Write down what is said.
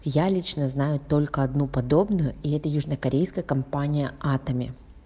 я лично знаю только одну подобную и это южно-корейская компания атоми